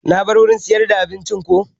Na bar wurin siyar da abincin ko